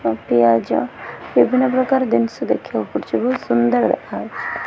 ଓ ପିଆଜ ବିଭିନ୍ନ ପ୍ରକାର ଦିନଷ ଦେଖିବାକୁ ପଡ଼ୁଚି ବୋହୁତ୍ ସୁନ୍ଦର୍ ଦେଖାହୋଉଚି।